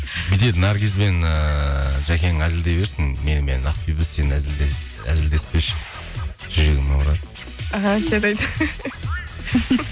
бүйтеді наргиз бен ыыы жәкең әзілдей берсін менімен ақбибі сен әзілдеспеші жүрегім ауырады аха жарайды